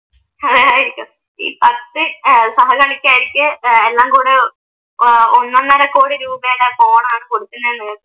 ആയിരിക്കാം ഈ പത്ത് ഏർ സഹ കളിക്കാർക്ക് ഏർ എല്ലാം കൂട ആഹ് ഒന്നൊന്നര കോടി രൂപയുടെ ഫോൺ ആണ് കൊടുക്കുന്നത്